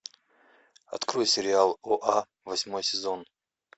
открой сериал оа восьмой сезон